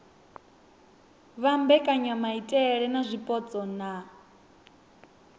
vha mbekanyamaitele dza zwipotso na